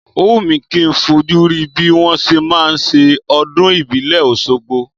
Ó wù mi kì í fojú rí bí wọn ṣe máa ń ṣe ọdún ìbílẹ̀ Oṣogbo.